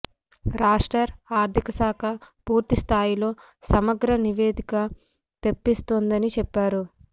రాష్టర్ ఆర్థిక శాఖ పూర్తి స్థాయిలో సమగ్ర నివేదిక తెప్పిస్తోందని చెప్పారు